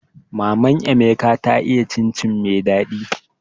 Maman emeka ta iya cin cin mai daɗi